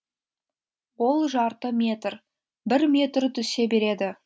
ол жарты метр бір метр түсе береді